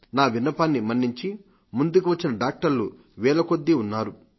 నా విన్నపాన్ని మన్నించి ముందుకువచ్చిన వైద్యులు వేలకొద్దీ ఉన్నారు